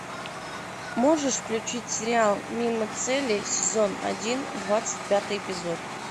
можешь включить сериал мимо цели сезон один двадцать пятый эпизод